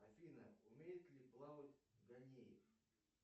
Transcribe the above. афина умеет ли плавать ганеев